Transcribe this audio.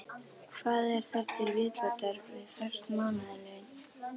Hvað er þar til viðbótar við föst mánaðarlaun?